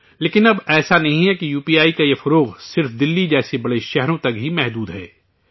لیکن اب ایسا نہیں ہے کہ یو پی آئی کا یہ پھیلاؤ صرف دہلی جیسے بڑے شہروں تک ہی محدود ہے